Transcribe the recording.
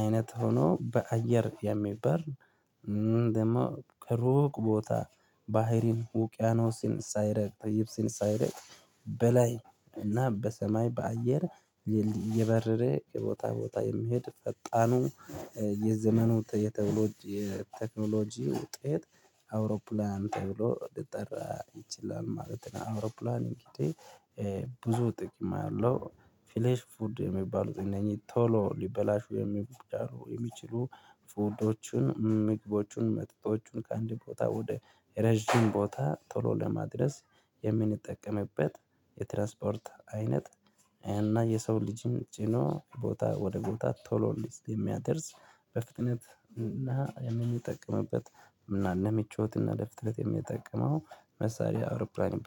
አይነት ሆኖ በአየር የሚበር ደግሞ ሩቅ ቦታ ባህርን ውቅያኖስን ሳይረግጥ ይብስን ሳይረግጥ በላይ እና በሰማይ በአየር እየበረረ የቦታ ቦታ የሚሄድ ፈጣኑ የዘመኑ የተብሎ የቴክኖሎጂ ውጤት አውሮፕላን ተብሎ ልጠራ ይችላል ማለት ነው። አውሮፕላን እንግዲህ ብዙ ጥቅም አለው ፍሌሽ ፉድ የሚባሉት እነኚህ ቶሎ ሊበላሹ የሚችሉ የሚችሉ ፉልዶችን ምግቦችን መጠጦችን ከአንድ ቦታ ወደ ረጅም ቦታ ቶሎ ለማድረስ የምንጠቀምበት የትራንስፖርት አይነት። እና የሰው ልጅን ጭኖ ቦታ ወደ ቦታ ቶሎ የሚያደርስ በፍጥነት እና የምንጠቀምበት እና ለምቾት እና ለፍጥነት የምጠቀመው መሳሪያ አውሮፕላን ይባ